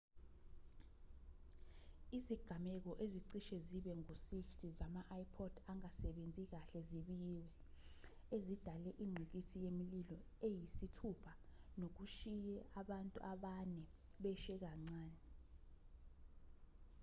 izigameko ezicishe zibe ngu-60 zama-ipod angasebenzi kahle zibikiwe ezidale ingqikithi yemililo eyisithupha nokushiye abantu abane beshe kancane